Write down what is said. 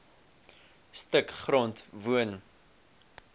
stuk grond woon